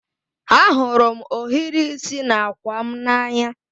Ahụrụ m ohiri isi n'àkwà m n'anya